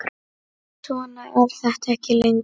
Svona er þetta ekki lengur.